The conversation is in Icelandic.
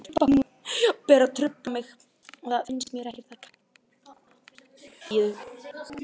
Hún er óánægð.